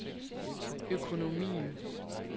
økonomien